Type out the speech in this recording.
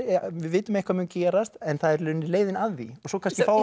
við vitum að eitthvað mun gerast en það er í rauninni leiðin að því og svo kannski